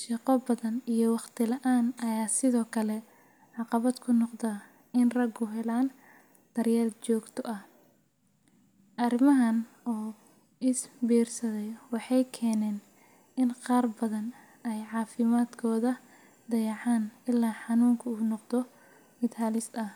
shaqo badan iyo waqti la’aan ayaa sidoo kale caqabad ku noqda in raggu helaan daryeel joogto ah. Arrimahan oo is biirsaday waxay keeneen in qaar badan ay caafimaadkooda dayacaan ilaa xanuunku uu noqdo mid halis ah.